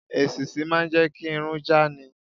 Èṣíṣí máà ń jẹ́ kí irun já ni.